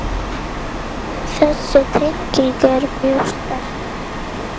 Þessi tenging er mjög sterk.